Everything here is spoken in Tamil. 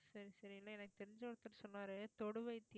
சரி சரி இல்லை எனக்கு தெரிஞ்ச ஒருத்தர் சொன்னாரு தொடு வைத்தியம்